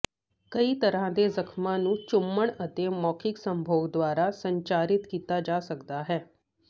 ਕਈ ਤਰ੍ਹਾਂ ਦੇ ਜ਼ਖਮਾਂ ਨੂੰ ਚੁੰਮਣ ਅਤੇ ਮੌਖਿਕ ਸੰਭੋਗ ਦੁਆਰਾ ਸੰਚਾਰਿਤ ਕੀਤਾ ਜਾ ਸਕਦਾ ਹੈ